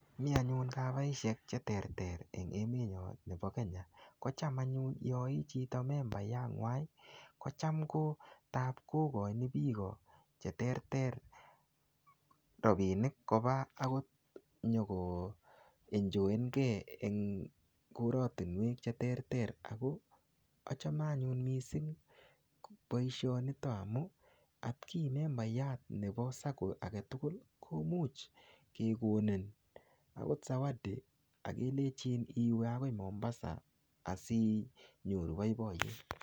Mi anyun chmaishek che terter eng emenyo nebo Kenya. Kocham anyun yaichito membaiyat ngwai, kocham kotap kokochin biiko che terter rabinik koba akot nyikoenjoenkey eng koratinwek che terter. Ako achame anyun missing boisonito amu, atki membaiyat nebo sacco age tugul, komuch akekonin akot zawadi akelejin iwei akoi Mombasa, asinyoru boiboyet.